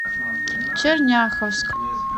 черняховск